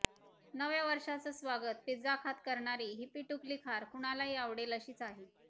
नव्या वर्षाचं स्वागत पिझ्झा खात करणारी ही पिटुकली खार कुणालाही आवडेल अशीच आहे